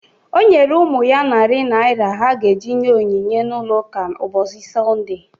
O nyere ụmụ ya narị naira ha ga-eji nye onyinye n'ụlọụka mbọsi Sọnde